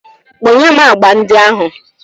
Kponye m agba ndị ahụ.